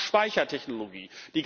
Wir brauchen Speichertechnologie.